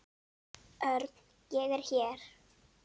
Örn, ég er hér